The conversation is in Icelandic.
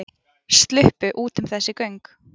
Sluppu út um þessi göng